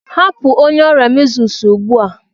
Hapụ onye ọrịa Measles ugbu a!